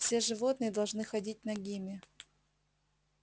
все животные должны ходить нагими